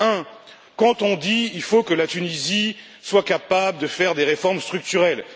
Premièrement, quand on dit qu'il faut que la Tunisie soit capable de faire des réformes structurelles.